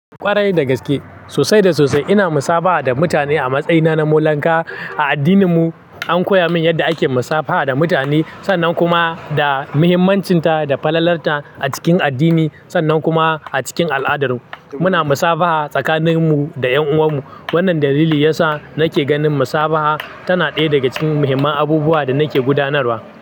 Kwarai da gaske, sosai da sosai ina musabaha da mutane a matsayina na molanka. A addininmu an koya min yadda ake musabaha da mutane sannan kuma da muhimmancinsa da falalarta a cikin addini sannan kuma a cikin al'adar mu. Muna musabaha tsakanin mu da 'yan uwan mu. Wannan dalili yasa nake ganin musabaha tana ɗaya daga cikin muhimman abubuwa da nake gudanarwa.